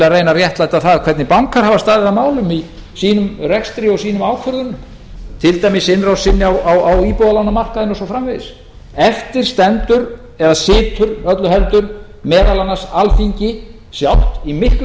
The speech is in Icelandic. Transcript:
að reyna að réttlæta það hvernig bankar hafa staðið að málum í sínum rekstri og sínum ákvörðunum til dæmis innrásinni á íbúðalánamarkaðinn og svo framvegis eftir stendur eða situr öllu heldur meðal annars alþingi sjálft í miklu